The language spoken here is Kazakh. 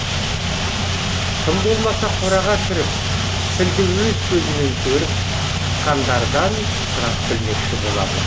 тым болмаса қораға кіріп пілді өз көзімен көріп шыққандардан сұрап білмекші болады